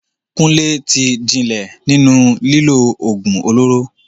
Kunle ti jinlẹ̀ nínú lílo ògùn olóró.